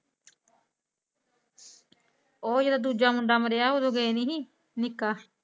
ਓਹ ਜਿਹੜਾ ਦੂਜਾ ਮੁੰਡਾ ਮਰਇਆ ਓਹ ਰੂਬੇਨ ਨੀ ਸੀ ਨੀਕਾ